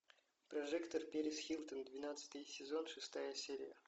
прожекторперисхилтон двенадцатый сезон шестая серия